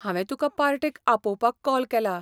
हांवे तुका पार्टेक आपोवपाक कॉल केलां.